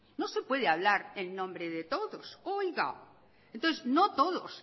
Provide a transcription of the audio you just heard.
no se puede hablar en nombre de todos oiga entonces no todos